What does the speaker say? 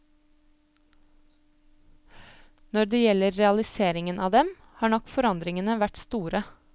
Når det gjelder realiseringen av dem, har nok forandringene vært store.